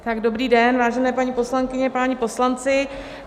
Dobrý den, vážené paní poslankyně, páni poslanci.